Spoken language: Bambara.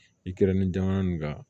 I kɛra ni jamana nin ka